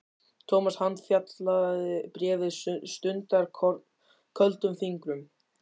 Thomas handfjatlaði bréfið stundarkorn, köldum fingrum.